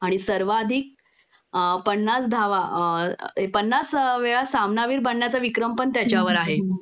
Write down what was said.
आणि सर्वाधिक पन्नास धावा अ पन्नास वेळा सामनावीर बनण्याचा विक्रम पण त्याच्या नावावर आहे